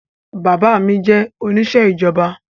Bàbá mi jẹ́ oníṣẹ́ ìjọba